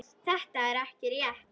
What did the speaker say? Þetta er ekki rétt.